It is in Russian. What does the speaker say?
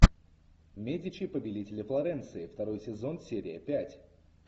медичи повелители флоренции второй сезон серия пять